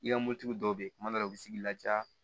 I ka mobilitigi dɔw bɛ yen kuma dɔw la u bɛ sigi i laja